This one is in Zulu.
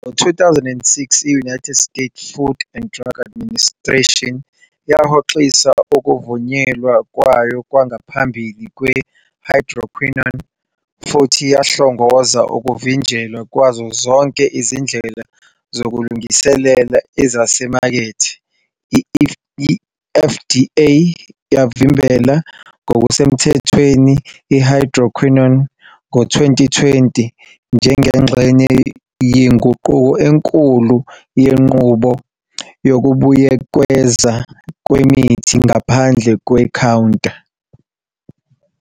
Ngo-2006, i-United States Food and Drug Administration yahoxisa ukuvunyelwa kwayo kwangaphambili kwe-hydroquinone futhi yahlongoza ukuvinjelwa kwazo zonke izindlela zokulungiselela ezisemakethe. I-FDA yavimbela ngokusemthethweni i-hydroquinone ngo-2020 njengengxenye yenguquko enkulu yenqubo yokubuyekezwa kwemithi ngaphandle kwe-counter.